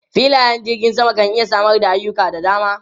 Filayen jirgin sama kan iya samar da ayuka da dama.